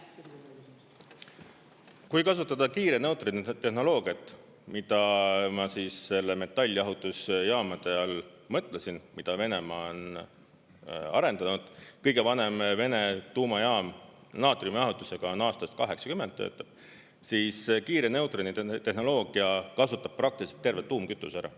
Kui kasutada kiire neutroni tehnoloogiat, mida ma selle metalljahutusjaamade all mõtlesin, mida Venemaa on arendanud, kõige vanem Vene tuumajaam, naatriumijahutusega, on aastast 1980, töötab, siis kiire neutroni tehnoloogia kasutab praktiliselt terve tuumkütuse ära.